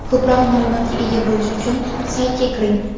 Ko‘proq ma’lumotga ega bo‘lish uchun saytga kiring.